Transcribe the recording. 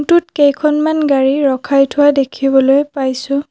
টোত কেইখনমান গাড়ী ৰখাই থোৱা দেখিবলৈ পাইছোঁ।